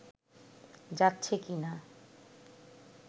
যাচ্ছে কি না